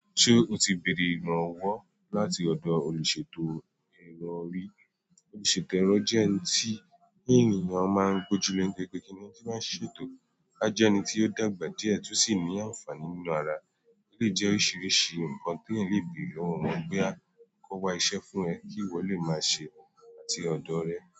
Ṣé o ti béèrè ìrànwọ́ láti ọ̀dọ̀ olùṣètò ẹ̀rọ rí? Olùṣètò ẹ̀rọ jẹ́ ẹni tí ènìyàn máa ń gbojúlé gẹ́gẹ́ kí ẹni tí máa ń ṣètò rí, a jẹ́ ẹni tí ó dàgbà díẹ̀ tí ó sì ní àǹfààní nínú ara. Ó lè jẹ́ oríṣiríṣi nǹkan tí ẹeyan lè béèrè lọ́wọ́ wọn boya a kó wa iṣẹ́ fún ẹ kí ìwọ lè máa ṣe é láti ọ̀dọ̀ rẹ̀.